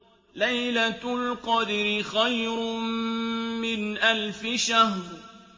لَيْلَةُ الْقَدْرِ خَيْرٌ مِّنْ أَلْفِ شَهْرٍ